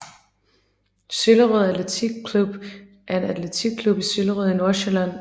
Søllerød Atletik Club er en atletikklub i Søllerød i Nordsjælland